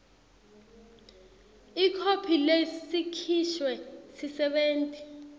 ikhophi lesikhishwe sisebenti